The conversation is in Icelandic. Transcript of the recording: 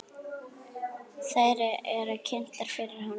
Þær eru kynntar fyrir honum.